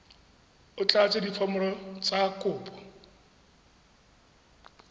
o tlatse diforomo tsa kopo